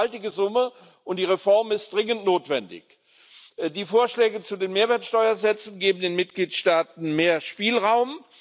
Das ist eine gewaltige Summe, und die Reform ist dringend notwendig. Die Vorschläge zu den Mehrwertsteuersätzen geben den Mitgliedstaaten mehr Spielraum.